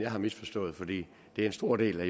har misforstået for det er en stor del af